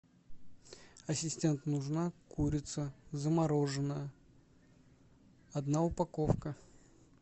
ассистент нужна курица замороженная одна упаковка